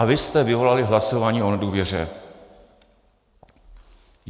A vy jste vyvolali hlasování o nedůvěře.